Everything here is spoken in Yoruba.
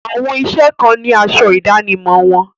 Àwọn iṣẹ́ kan ni asọ ìdánimọ̀ wọn.